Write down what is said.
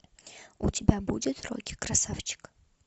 у тебя будет рокки красавчик